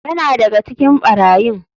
Yana daga cikin barayin.